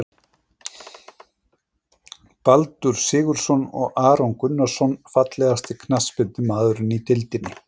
Baldur Sigurðsson og Aron Gunnarsson Fallegasti knattspyrnumaðurinn í deildinni?